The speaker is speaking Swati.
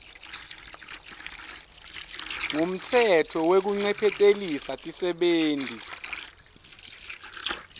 ngumtsetfo wekuncephetelisa tisebenti